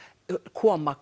koma